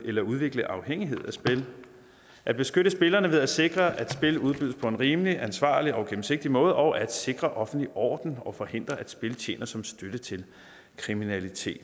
eller udvikle afhængighed af spil at beskytte spillerne ved at sikre at spil udbydes på en rimelig ansvarlig og gennemsigtig måde og at sikre offentlig orden og forhindre at spil tjener som støtte til kriminalitet